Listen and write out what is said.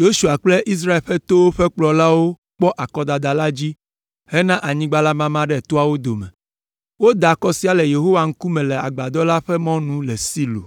Yosua kple Israel ƒe towo ƒe kplɔlawo kpɔ akɔdada la dzi hena anyigba la mama ɖe toawo dome. Woda akɔ sia le Yehowa ŋkume le Agbadɔ la ƒe mɔnu le Silo.